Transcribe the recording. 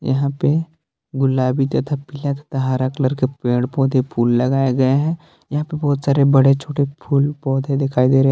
यहां पे गुलाबी तथा पीला तथा हरा कलर के पेड़ पौधे फूल लगाए गए है यहां पे बहुत सारे बड़े छोटे फूल पौधे दिखाई दे रहे है।